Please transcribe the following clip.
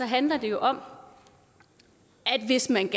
handler det om at hvis man